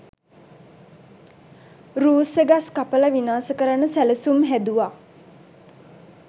රූස්ස ගස් කපල විනාශ කරන්න සැලසුම් හැදුවා.